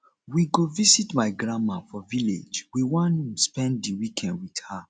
we go visit my grandma for village we wan spend di weekend wit her